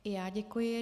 I já děkuji.